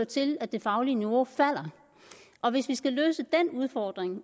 til at det faglige niveau falder og hvis vi skal løse den udfordring